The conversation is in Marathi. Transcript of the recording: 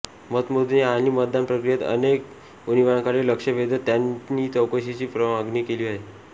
मतमोजणी आणि मतदान प्रक्रियेत अनेक उणिवांकडे लक्ष वेधत त्यांनी चौकशीची मागणी केली आहे